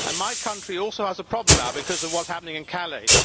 My country also has a problem now because of what is happening in Calais.